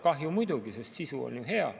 Kahju muidugi, sest sisu on ju hea.